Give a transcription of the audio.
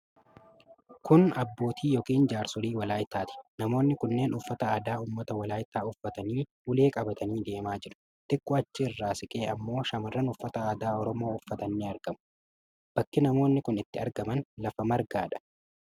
Kun abbootii yookiin jaarsolii Walaayittaati. Namoonni kunneen uffata aadaa ummata Walaayittaa uffatanii ulee qabatanii deemaa jiru. Xiqqoo achi irraa siqee ammoo shamarran uffata aadaa Oromoo uffatan ni argamu. Bakki namoonni kun itti argaman lafa margaadha.